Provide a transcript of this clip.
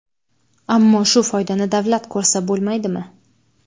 Ammo shu foydani davlat ko‘rsa bo‘lmaydimi?